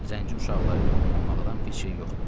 Zənci uşaqları ilə oynamaqdan pis şey yoxdu.